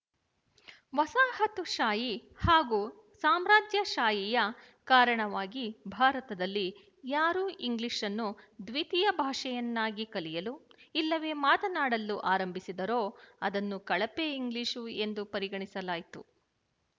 ವಸಾಹತುಶಾಹಿ ಹಾಗೂ ಸಾಮ್ರಾಜ್ಯಶಾಹಿಯ ಕಾರಣವಾಗಿ ಭಾರತದಲ್ಲಿ ಯಾರು ಇಂಗ್ಲಿಶ್‌ ಅನ್ನು ದ್ವಿತೀಯ ಭಾಷೆಯನ್ನಾಗಿ ಕಲಿಯಲು ಇಲ್ಲವೇ ಮಾತನ್ನಾಡಲು ಆರಂಭಿಸಿದರೋ ಅದನ್ನು ಕಳಪೆ ಇಂಗ್ಲಿಶು ಎಂದು ಪರಿಗಣಿಸಲಾಯ್ತು